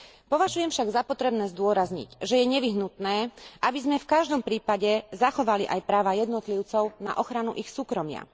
Považujem však za potrebné zdôrazniť, že je nevyhnutné, aby sme v každom prípade zachovali aj práva jednotlivcov na ochranu ich súkromia.